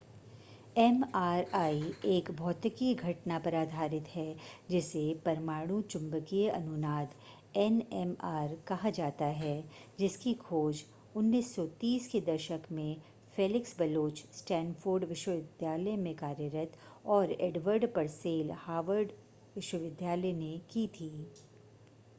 MRI एक भौतिकी घटना पर आधारित है जिसे परमाणु चुंबकीय अनुनाद एनएमआर कहा जाता है जिसकी खोज 1930 के दशक में फ़ेलिक्स बलोच स्टैनफ़ोर्ड विश्वविद्यालय में कार्यरत और एडवर्ड परसेल हार्वर्ड विश्वविद्यालय ने की थी